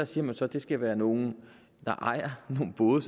siger man så at det skal være nogle der ejer nogle både